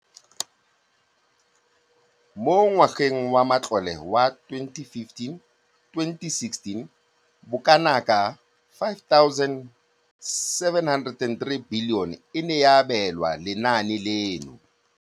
Mo ngwageng wa matlole wa 2015 2016, bokanaka 5 703 bilione e ne ya abelwa lenaane leno.